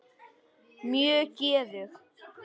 Mjög geðug.